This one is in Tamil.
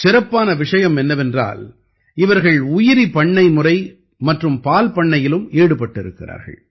சிறப்பான விஷயம் என்னவென்றால் இவர்கள் உயிரி பண்ணைமுறை மற்றும் பால்பண்ணையிலும் ஈடுபட்டிருக்கிறார்கள்